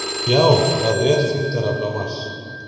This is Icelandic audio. Já, það er þyngdarafl á Mars!